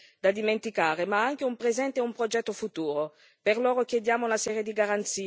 Sono giovani con un passato difficile da dimenticare, ma anche un presente e un progetto futuro.